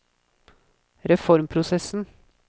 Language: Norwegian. reformprosessen